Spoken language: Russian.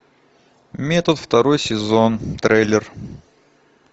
метод второй сезон трейлер